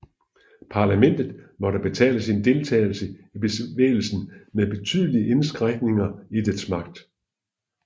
Parlamentet måtte betale sin deltagelse i bevægelsen med betydelige indskrænkninger i dets magt